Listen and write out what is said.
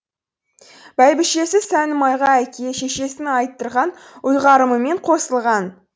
бәйбішесі сәнімайға әке шешесінің айттырған ұйғарымымен қосылған